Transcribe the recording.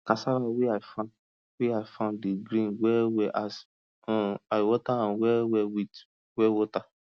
cassava wey i farm wey i farm dey green well well as um i water am well well with well water